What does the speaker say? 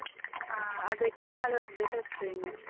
ಹ ಅದಕ್ಕೆ ನಾಳೆ ಹೋಗ್ಬೇಕಷ್ಟೇ ಇನ್ನು.